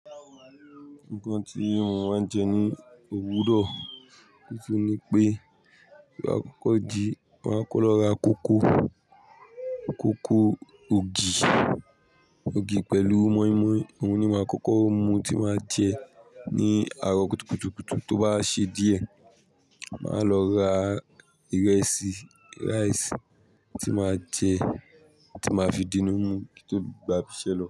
Nǹkan tí mò ń má n jẹ ní òwúrọ̀, nítorí pé ló àkọ́kọ́ jí, màá kọ́ ló ra kókò, kókò ògì, ògì pẹ̀lú mọ́ímọ́í. Òun ni màá kọ́kọ́ mu tí màá jẹ ní àárọ̀ kùtukùtukùtù. Tó bá ṣe díẹ̀, màá lọ ra ìrẹsì rice tí màá jẹ, tí màá fi dínú mu kí n tó gbà biṣẹ́ lọ.